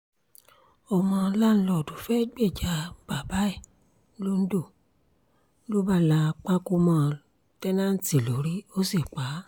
ọmọ láńlọ́ọ̀dù fẹ́ẹ́ gbèjà bàbá ẹ̀ londo ló bá la pákó mọ́ tẹ́ǹtẹ́ǹtì lórí ó sì pá a